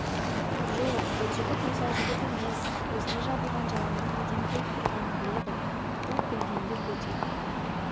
жоқ бұл жігіт осал жігіт емес өзіне жабылған жаланың неден туып тұрғанын біледі бұл білгенді бөтен